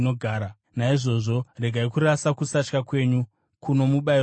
Naizvozvo regai kurasa kusatya kwenyu, kuno mubayiro mukuru.